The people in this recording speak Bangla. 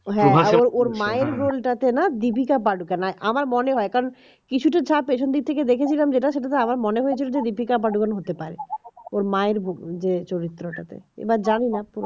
ওর মায়ের roll টা তে না দীপিকা পাডুকোন আর আমার মনে হয় কারণ কিছুটা চাপে যেদিন থেকে দেখেছিলাম যেটা সেটাতে আমার মনে হয়েছে যে দীপিকা পাডুকোন হতে পারে ওর মায়ের যে চরিত্র এবার জানিনা